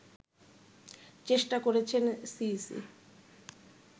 চেষ্টা করেছেন সিইসি